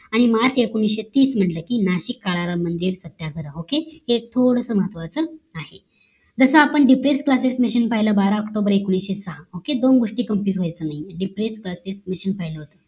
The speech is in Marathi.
आणि मार्च एकोणीशे तीस म्हंटल कि नाशिक काळाराम मंदिर सत्याग्रह okay हे थोडासा महत्वाचे आहे जस आपण depress classes machine पाहिलं बारा ऑक्टोबर एकविषे सहा okay दोन गोष्टी complete व्हायचं नाही depress classes machine